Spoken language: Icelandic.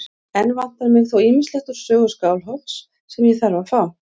Enn vantar mig þó ýmislegt úr sögu Skálholts sem ég þarf að fá.